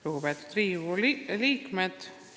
Lugupeetud Riigikogu liikmed!